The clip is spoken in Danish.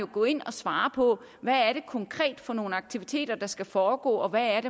gå ind og svare på hvad det konkret er for nogle aktiviteter der skal foregå og hvad